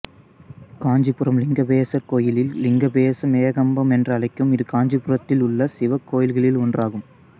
காஞ்சிபுரம் லிங்கபேசர் கோயில் லிங்கபேசம் ஏகம்பம் என்றழைக்கும் இது காஞ்சிபுரத்திலுள்ள சிவக் கோயில்களில் ஒன்றாகும்